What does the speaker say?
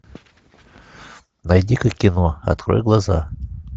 найди ка кино открой глаза